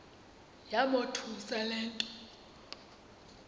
yamothusa le nto